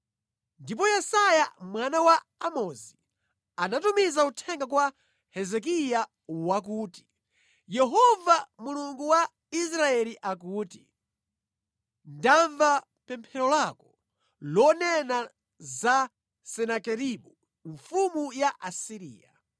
Ndipo Yesaya mwana wa Amozi anatumiza uthenga kwa Hezekiya wakuti, “Yehova Mulungu wa Israeli akuti, ‘Ndamva pemphero lako lonena za Senakeribu mfumu ya ku Asiriya.’ ”